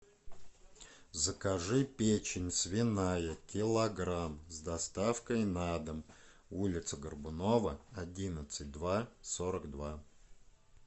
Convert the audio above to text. закажи печень свиная килограмм с доставкой на дом улица горбунова одиннадцать два сорок два